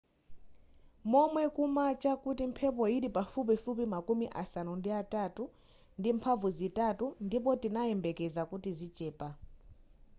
momwe kumacha nkuti mphepo yili pafupifupi makumi asanu ndi atatu ndi mphamvu zitatu ndipo tinayembekeza kuti zichepa